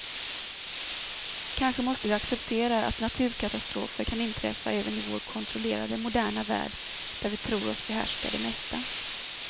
Kanske måste vi acceptera att naturkatastrofer kan inträffa även i vår kontrollerade, moderna värld där vi tror oss behärska det mesta.